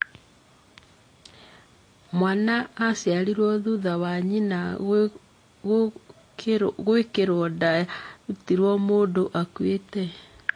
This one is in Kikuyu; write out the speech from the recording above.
Mwana aciarirũo thutha wa nyina guikirwo nda yarutitwo mũndũ akuite.